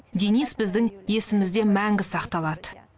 денис біздің есімізде мәңгі сақталады